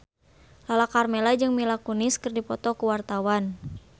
Lala Karmela jeung Mila Kunis keur dipoto ku wartawan